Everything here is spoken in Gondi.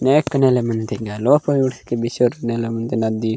नेक नेल मेंदेंग लोपा ऊड़ के बिचोर नेला नदी --